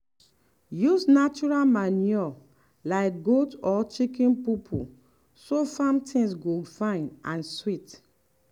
use natural manure like goat or chicken poo poo so farm things go fine and sweet.